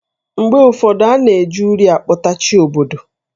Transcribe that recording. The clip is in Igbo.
Mgbe ụfọdụ, a na-eji uri akpote Chi obodo.